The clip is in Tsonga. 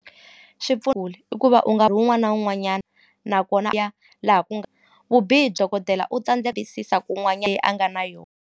kule i ku va u nkarhi wun'wana na wun'wanyana nakona laha ku nga vubihi u tiyisisa ku leyi a nga na yona.